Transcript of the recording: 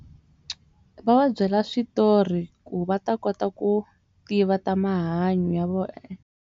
Va va byela switori ku va ta kota ku tiva ta mahanyo ya vona.